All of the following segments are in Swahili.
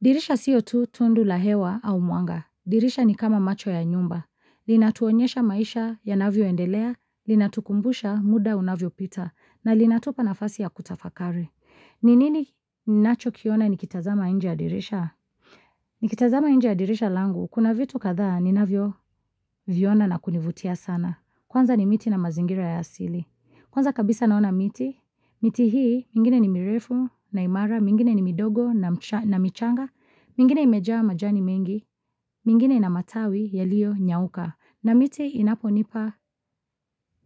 Dirisha siyo tu tundu la hewa au mwanga. Dirisha ni kama macho ya nyumba. Linatuonyesha maisha yanavyoendelea, linatukumbusha muda unavyopita, na linatupa nafasi ya kutafakari. Ni nini ninacho kiona nikitazama nje ya dirisha? Nikitazama nje ya dirisha langu, kuna vitu kadhaa ninavyoviona na kunivutia sana. Kwanza ni miti na mazingira ya asili. Kwanza kabisa naona miti, miti hii mingine ni mirefu na imara, mingine ni midogo na michanga, mingine imejaa majani mengi, mingine na matawi yaliyonyauka. Na miti inaponipa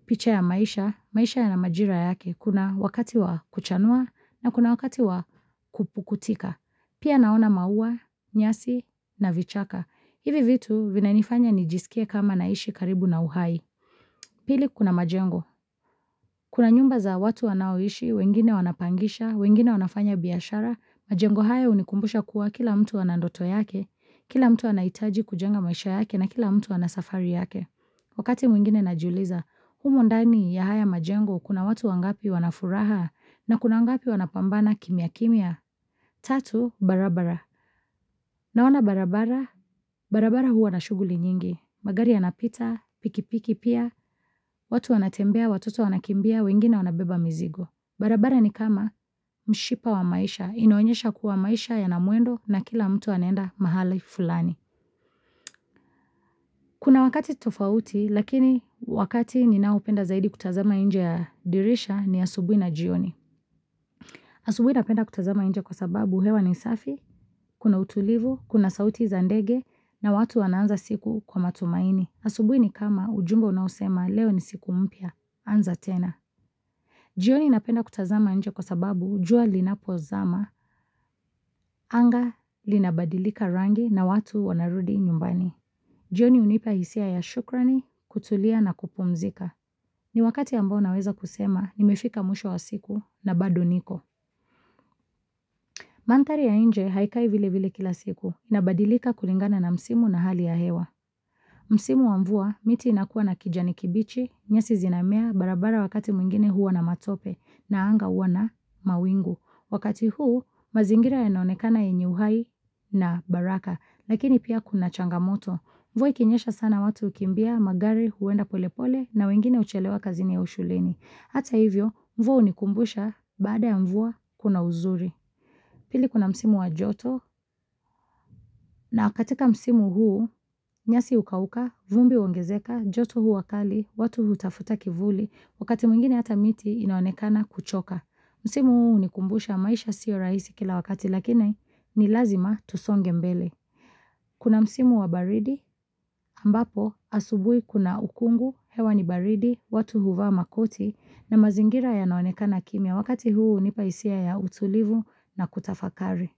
picha ya maisha, maisha yana majira yake, kuna wakati wa kuchanua na kuna wakati wa kupukutika. Pia naona maua, nyasi na vichaka. Hivi vitu vinanifanya nijiskie kama naishi karibu na uhai. Pili kuna majengo. Kuna nyumba za watu wanaoishi, wengine wanapangisha, wengine wanafanya biashara, majengo haya hunikumbusha kuwa kila mtu ana ndoto yake, kila mtu anahitaji kujenga maisha yake na kila mtu ana safari yake. Wakati mwingine najiuliza, humo ndani ya haya majengo kuna watu wangapi wana furaha na kuna wangapi wanapambana kimya kimya. Tatu barabara. Naona barabara, barabara huwa na shughuli nyingi. Magari yanapita, pikipiki pia, watu anatembea, watoto wanakimbia, wengine wanabeba mizigo. Barabara ni kama mshipa wa maisha, inoenyesha kuwa maisha yana mwendo na kila mtu anaenda mahali fulani. Kuna wakati tofauti lakini wakati ninaopenda zaidi kutazama nje ya dirisha ni asubuhi na jioni. Asubuhi napenda kutazama nje kwa sababu hewa ni safi, kuna utulivu, kuna sauti za ndege na watu wanaanza siku kwa matumaini. Asubuhi ni kama ujumbe unaosema leo ni siku mpya, anza tena. Jioni napenda kutazama nje kwa sababu jua linapozama anga linabadilika rangi na watu wanarudi nyumbani. Jioni hunipa hisia ya shukrani, kutulia na kupumzika. Ni wakati ambao naweza kusema, nimefika mwisho wa siku na bado niko. Manthari ya nje haikai vile vile kila siku inabadilika kulingana na msimu na hali ya hewa. Msimu wa mvua miti inakuwa na kijani kibichi, nyasi zinamea, barabara wakati mwingine huwa na matope na anga huwa na mawingu. Wakati huu mazingira yanaonekana yenye uhai na baraka, lakini pia kuna changamoto. Mvua ikinyesha sana watu hukimbia, magari huenda polepole na wengine huchelewa kazini au shuleni. Hata hivyo mvua hunikumbusha baada ya mvua kuna uzuri. Pili kuna msimu wa joto na katika msimu huu nyasi hukauka, vumbi huongezeka, joto huwa kali, watu hutafuta kivuli, wakati mwingine hata miti inaonekana kuchoka. Msimu huu hunikumbusha maisha siyo rahisi kila wakati lakini ni lazima tusonge mbele. Kuna msimu wa baridi, ambapo asubuhi kuna ukungu, hewa ni baridi, watu huvaa makoti na mazingira yanaonekana kimya. Wakati huu hunipa hisia ya utulivu na kutafakari.